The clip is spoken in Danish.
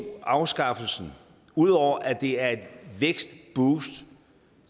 afskaffelsen udover at det er et vækstboost